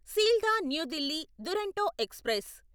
Sealdah New Delhi Duronto express